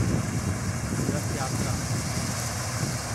रथ यात्रा